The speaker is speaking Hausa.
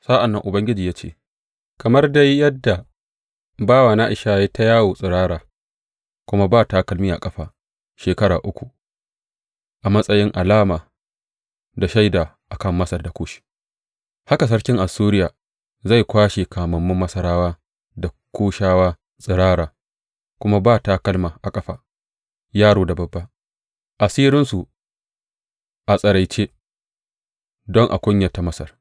Sa’an nan Ubangiji ya ce, Kamar dai yadda bawana Ishaya ya yi ta yawo tsirara kuma ba takalmi a ƙafa shekara uku, a matsayin alama da shaida a kan Masar da Kush, haka sarkin Assuriya zai kwashe kamammun Masarawa da Kushawa tsirara kuma ba takalma a ƙafa, yaro da babba, asirinsu a tsiraice, don a kunyata Masar.